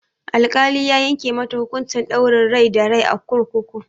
Al-kali ya yanke mata hukunci ɗaurin rai da rai a kurkuku